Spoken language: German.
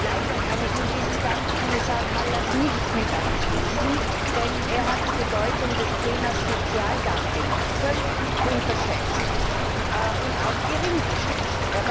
Leider kann ich in diesen Dank Kommissar Kallas nicht mit einschließen, denn er hat die Bedeutung des Themas Sozialdumping völlig unterschätzt und auch geringgeschätzt.